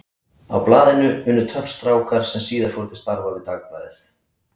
Á blaðinu unnu töff strákar sem síðar fóru til starfa við Dagblaðið.